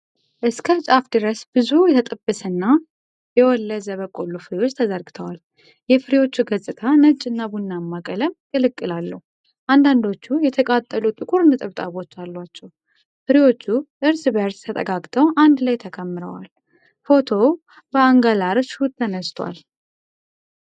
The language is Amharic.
እስከ ጫፍ ድረስ ብዙ የተጠበሰና የወለዘ በቆሎ ፍሬዎች ተዘርግተዋል። የፍሬዎቹ ገጽታ ነጭና ቡናማ ቀለም ቅልቅል አለው፤ አንዳንዶቹ የተቃጠሉ ጥቁር ነጠብጣቦች አሏቸው። ፍሬዎቹ እርስ በእርስ ተጠጋግተው አንድ ላይ ተከምረዋል። ፎቶው በአንገላር ሹት ተነስቷል።